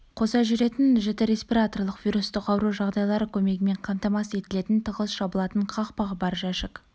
қоса жүретін жіті респираторлық вирустық ауру жағдайлары көмегімен қамтамасыз етілетін тығыз жабылатын қақпағы бар жәшік